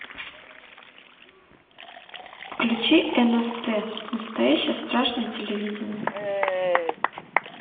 включи нст настоящее страшное телевидение